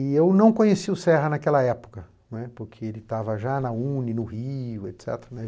E eu não conheci o Serra naquela época, né, porque ele estava já na u nê ê, no Rio, et cetera.